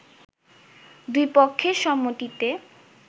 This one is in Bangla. দুই পক্ষের সম্মতিতে